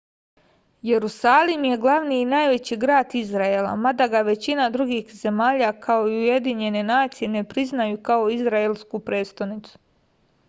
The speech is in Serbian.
jerusalim je glavni i najveći grad izraela mada ga većina drugih zemalja kao i ujedinjene nacije ne priznaju kao izraelsku prestonicu